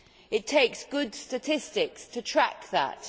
It takes good statistics to track that.